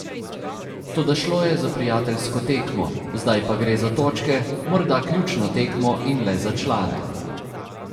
Toda šlo je za prijateljsko tekmo, zdaj pa gre za točke, morda ključno tekmo in le za člane.